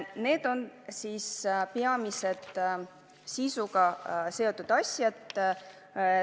Need on peamised sisuga seotud muudatused.